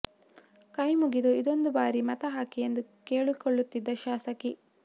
ಕೈ ಮುಗಿದು ಇದೊಂದು ಬಾರಿ ಮತ ಹಾಕಿ ಎಂದು ಕೇಳಿಕೊಳ್ಳುತ್ತಿದ್ದ ಶಾಸಕಿ